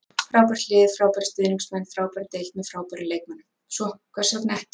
Frábært lið, frábærir stuðningsmenn, frábær deild með frábærum leikmönnum- svo hvers vegna ekki?